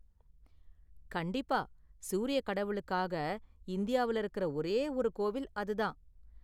கண்டிப்பா, சூரிய கடவுளுக்காக, இந்தியாவுல இருக்குற ஒரே ஒரு கோவில் அது தான்.